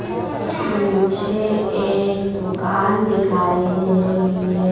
मुझे एक दुकान दिखाई दे रही है।